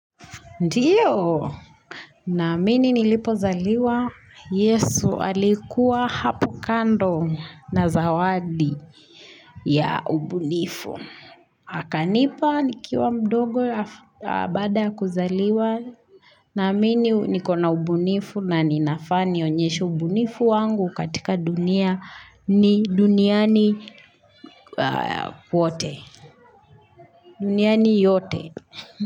Ndiyo, naamini nilipozaliwa, yesu alikuwa hapo kando na zawadi ya ubunifu. Akanipa nikiwa mdogo baada ya kuzaliwa, naamini nikona ubunifu na ninafaa nionyeshe ubunifu wangu katika dunia ni duniani kwote duniani yote.